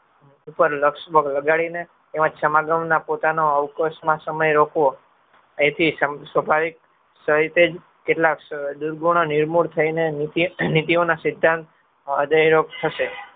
લગાડીને એમાં સમાગમનો પોતાનો અવકાશમાં સમય રોકવો એથી સ્વભાવિક સહીતેજ કેટલાક દુર્ગણો નિર્મૂળ થઈને નીતિઓના સિધ્ધાંત હૃદયરોગ થશે